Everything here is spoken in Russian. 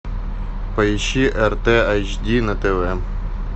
поищи рт эйч ди на тв